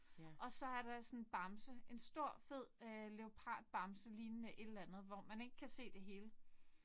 Og så er der sådan en bamse en stor fed øh leopardbamse lignende et eller andet hvor man ikke kan se det hele